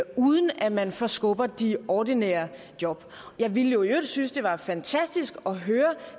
uden at man forskubber de ordinære job jeg ville jo i øvrigt synes det var fantastisk at høre